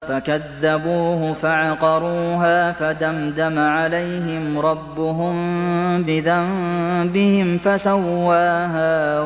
فَكَذَّبُوهُ فَعَقَرُوهَا فَدَمْدَمَ عَلَيْهِمْ رَبُّهُم بِذَنبِهِمْ فَسَوَّاهَا